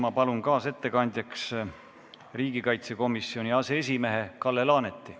Ma palun kaasettekandjaks riigikaitsekomisjoni aseesimehe Kalle Laaneti.